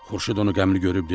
Xurşud onu qəmli görüb dedi: